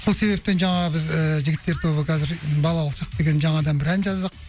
сол себептен жаңағы біз ііі жігіттер тобы қазір балалық шақ деген жаңадан бір ән жаздық